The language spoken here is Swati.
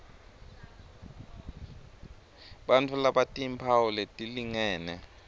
bantfu labatimphawu letilingene